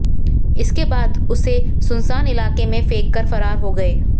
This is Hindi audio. इसके बाद उसे सुनसान इलाके में फेंककर फरार हो गए